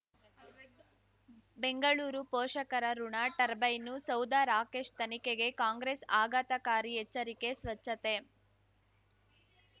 ಬೆಂಗಳೂರು ಪೋಷಕರಋಣ ಟರ್ಬೈನು ಸೌಧ ರಾಕೇಶ್ ತನಿಖೆಗೆ ಕಾಂಗ್ರೆಸ್ ಆಘಾತಕಾರಿ ಎಚ್ಚರಿಕೆ ಸ್ವಚ್ಛತೆ